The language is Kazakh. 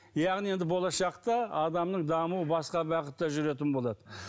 яғни енді болашақта адамның дамуы басқа бағытта жүретін болады